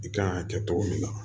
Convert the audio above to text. I kan ka kɛ cogo min na